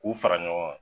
K'u fara ɲɔgɔn kan